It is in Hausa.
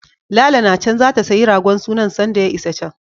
Lala na can zata sayi ragon sunan sanda ya isa can.